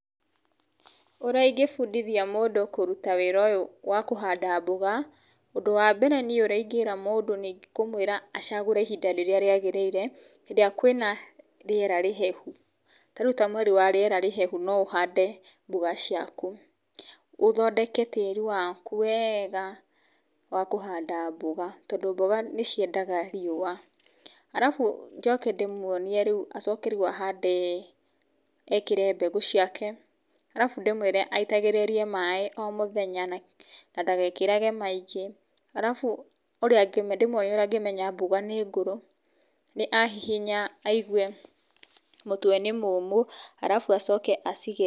Ũrĩa ingĩ bundithia mũndũ wĩra ũyũ wa kũhanda mboga, ũndũ wa mbere niĩ ũrĩa ingĩra mũndũ nĩ kũmwĩra acagũre ihinda rĩrĩa rĩagĩrĩire hĩndĩ ĩrĩa kwĩna rĩera rĩhehu, ta rĩu mweri wa rĩera rĩa hehu no ũhande mboga ciaku ũthondeke tĩri waku wega wa kũhand mboga, tondũ mboga nĩ ciendaga riua, alafu njoke ndĩmwonie rĩu acoke ahande, ekĩre mbegũ ciake alafu ndĩmwĩre aitagĩrĩrie mbegũ ciake maĩ o mũthenya na ndagekĩrage maingĩ alafu ũrĩa ndĩmwonie ũrĩa angĩmeya mboga nĩ ngũrũ nĩ ahehinya aigue mũtwe nĩ mũmũ alafu acoke acige.